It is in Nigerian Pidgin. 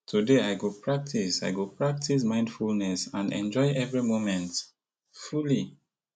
today i go practice i go practice mindfulness and enjoy every moment fully